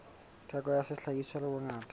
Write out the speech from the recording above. theko ya sehlahiswa le bongata